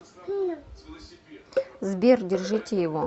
сбер держите его